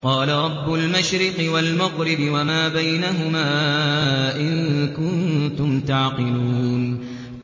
قَالَ رَبُّ الْمَشْرِقِ وَالْمَغْرِبِ وَمَا بَيْنَهُمَا ۖ إِن كُنتُمْ تَعْقِلُونَ